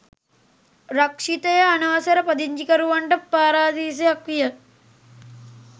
රක්‍ෂිතය අනවසර පදිංචිකරුවන්ට පාරාදීසයක් විය.